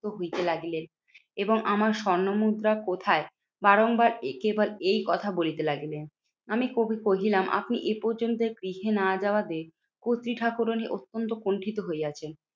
হইতে লাগিলেন। এবং আমার স্বর্ণমুদ্রা কোথায়? বারংবার কেবল এই কথা বলিতে লাগিলেন। আমি কহি কহিলাম আপনি এ পর্যন্ত গৃহে না যাওয়া তে কর্ত্রী ঠাকুরানী অত্যন্ত কুন্ঠিত হইয়াছেন।